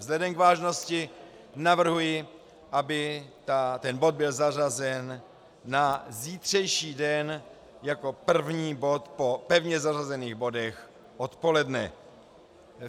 Vzhledem k vážnosti navrhuji, aby ten bod byl zařazen na zítřejší den jako první bod po pevně zařazených bodech odpoledne.